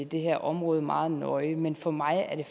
det her område meget nøje men for mig er det